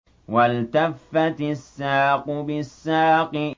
وَالْتَفَّتِ السَّاقُ بِالسَّاقِ